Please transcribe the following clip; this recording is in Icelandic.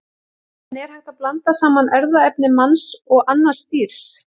En er hægt að blanda saman erfðaefni manns og annars dýrs?